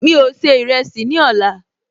Mi ò se ìrẹsì ní ọ̀la